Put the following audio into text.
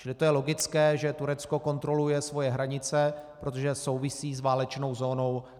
Čili to je logické, že Turecko kontroluje svoje hranice, protože souvisí s válečnou zónou.